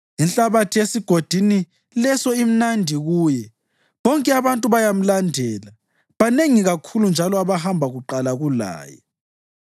Inhlabathi esigodini leso imnandi kuye; bonke abantu bayamlandela, banengi kakhulu njalo abahamba kuqala kulaye.